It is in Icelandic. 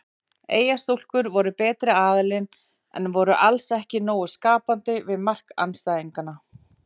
Eyjastúlkur voru betri aðilinn en voru alls ekki nógu skapandi við mark andstæðinganna.